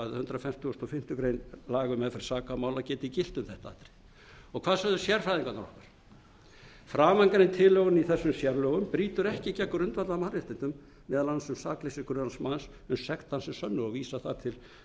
hundrað fertugasta og fimmtu grein laga um meðferð sakamála geti gilt um þetta hvað sögðu sérfræðingarnir okkar framangreind tilhögun í þessum sérlögum brýtur ekki gegn grundvallarmannréttindum meðal annars um sakleysi grunaðs manns uns sekt hans er sönnuð og vísa þar til önnur málsgrein